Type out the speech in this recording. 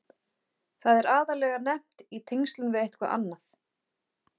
Það er aðallega nefnt í tengslum við eitthvað annað.